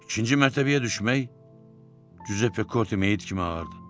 İkinci mərtəbəyə düşmək Cüzeppe Korte meyit kimi ağırdı.